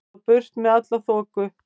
Svo burt með alla þoku.